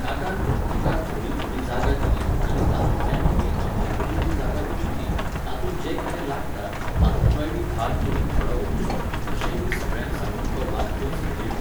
काकान प्रत्येकाक थोडी थोडी जागा दिली आनी तातुंल्यानूयबी आपल्याकडेन जी जागा उरिल्ली, तातूंत जें कितें लागता, तातुंतलोयबी भाग तुमी थोडो व्हरचो, अशेंयबी सगळ्यांक सांगून तो वाद थंयच मिटयलो.